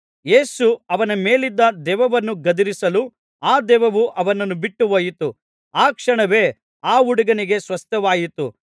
ಯೇಸು ಅವನ ಮೇಲಿದ್ದ ದೆವ್ವವನ್ನು ಗದರಿಸಲು ಆ ದೆವ್ವವು ಅವನನ್ನು ಬಿಟ್ಟುಹೋಯಿತು ಆ ಕ್ಷಣವೇ ಆ ಹುಡುಗನಿಗೆ ಸ್ವಸ್ಥವಾಯಿತು